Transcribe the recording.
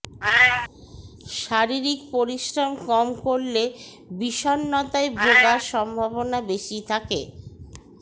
শারীরিক পরিশ্রম কম করলে বিষন্নতায় ভোগার সম্ভাবনা বেশি থাকে